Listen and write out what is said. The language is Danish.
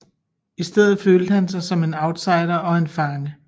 I stedet følte han sig som en outsider og en fange